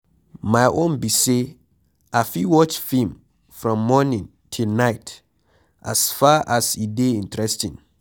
My own be say I fit watch film from morning till night as far as e dey interesting.